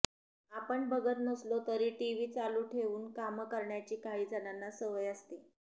आपण बघत नसलो तरी टीव्ही चालू ठेवून कामं करण्याची काहीजणांना सवय असते